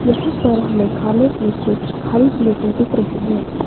यहां पर हमें खाने की कुछ खाली प्लेट दिख रही है।